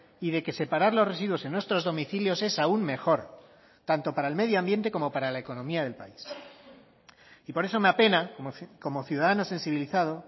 y de que separar los residuos en nuestros domicilios es aún mejor tanto para el medioambiente como para la economía del país y por eso me apena como ciudadano sensibilizado